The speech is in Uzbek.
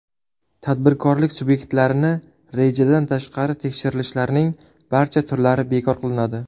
Tadbirkorlik subyektlarini rejadan tashqari tekshirishlarning barcha turlari bekor qilinadi .